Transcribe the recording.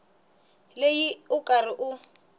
leyi u ri karhi u